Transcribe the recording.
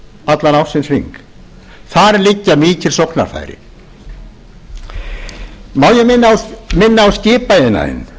allan ársins hring þar liggja mikil sóknarfæri má ég minna á skipaiðnaðinn